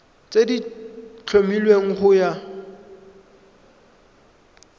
tse di tlhomilweng go ya